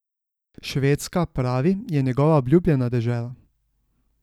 Švedska, pravi, je njegova obljubljena dežela.